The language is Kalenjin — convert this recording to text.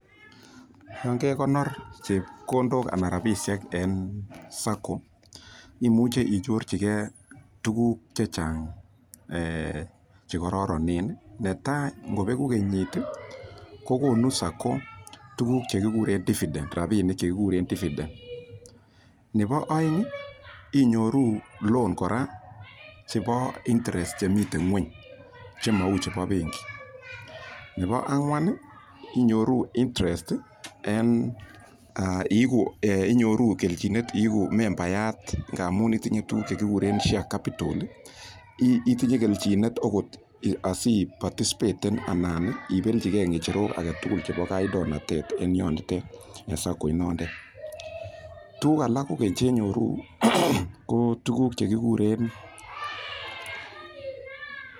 Yon kekonor chepkondok anan rapisiek en Savings and Credit Cooperative imuche inyorchigee tuguk chechang chekororonen netaa ngobeku kenyit ih kokonu Savings and Credit Cooperative tuguk chekikuren dividend rapinik chekikuren dividend nebo oeng ih inyoru loan kora chebo interest chemiten ng'weny chemou chebo benki nebo ang'wan ih inyoru interest en iigu kelchinet iigu membayat ngamun itinye tuguk chekikuren share capital itinye kelchinet okot asiparticipete anan ibelchigee ng'echerok alak tugul chebo kandoindet en yotet en Savings and Credit Cooperative inondet tuguk alak kogeny chenyoru ko tuguk chekikuren